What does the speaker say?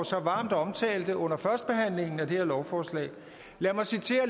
så varmt omtalte under førstebehandlingen af det her lovforslag lad mig citere